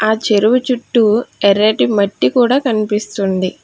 ఆ చెరువు చుట్టూ ఎర్రటి మట్టి కూడా కనిపిస్తుంది.